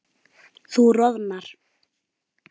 Þú roðnar.